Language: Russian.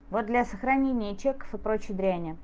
вот для сохранения чеков и прочей дряни